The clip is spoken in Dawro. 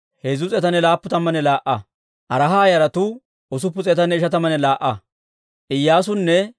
Iyyaasunne Iyoo'aaba naanaa gideedda Paahati-Moo'aaba yaratuu 2,818.